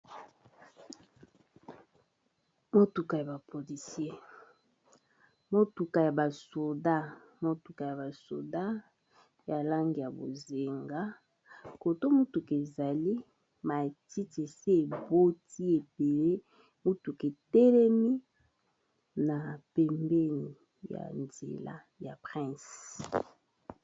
Motuka ya ba policier motuka ya basoda ya langi ya bozinga côté Oyo mutuka ezali matiti esi eboti ebele motuka etelemi na pembeni ya nzela ya prince